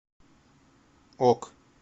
ок